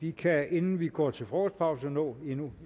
vi kan inden vi går til frokostpause nå endnu